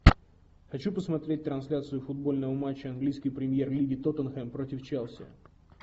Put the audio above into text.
хочу посмотреть трансляцию футбольного матча английской премьер лиги тоттенхэм против челси